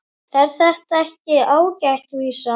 Er þetta ekki ágæt vísa?